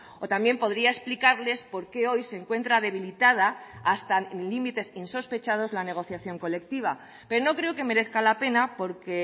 o también podría explicarles por qué hoy se encuentra debilitada hasta límites insospechados la negociación colectiva pero no creo que merezca la pena porque